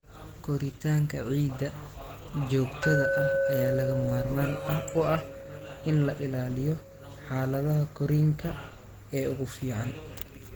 Koritaanka ciidda joogtada ah ayaa lagama maarmaan u ah in la ilaaliyo xaaladaha korriinka ee ugu fiican.